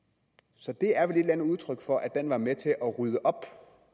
så det er vel et udtryk for at den var med til at rydde op